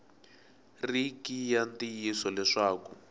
ri ki ya ntiyiso leswaku